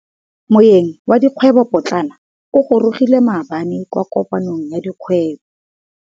Moêng wa dikgwêbô pôtlana o gorogile maabane kwa kopanong ya dikgwêbô.